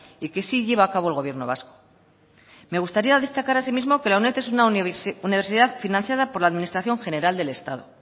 y que sí lleva a cabo el gobierno vasco me gustaría destacar asimismo que la uned es una universidad financiada por la administración general del estado